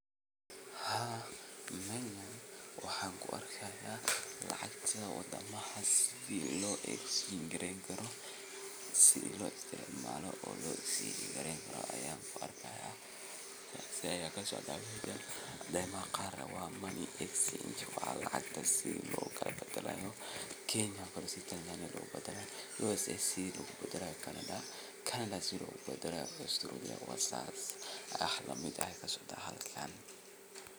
Haa meejan waxan kuarkayaa lacagtaa wadamaha sithi lo exchange gareynikaro, sithi lo istacmalo o lo exchange gareynikaro an kuarkaya aya kuarkayaa cadema qar ne wa money exchange wa lacagta si lokala badalayo Kenya si gar ah ba lobadali, USA ne sithi logubaladalo, Canada sithi lobadalayo